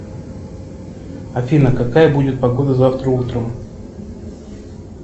афина какая будет погода завтра утром